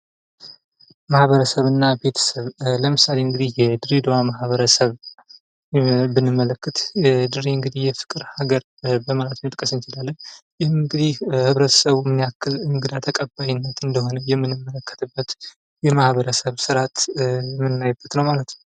ማህበረሰብ እና ቤተሰብ ለምሳሌ የድሬደዋ ማህበረሰብ ብንመለከት ድሬ እንግዲህ የፍቅር ሀገር በማለት መጥቀስ እንችላለን። ይህ እንግዲህ ማህበረሰቡ ምን አይነት እንግዳ ተቀባይነት እንደሆነ የምንመለከትበት የማህበረሰብ ስርዓት የምናይበት ነዉ ማለት ነዉ።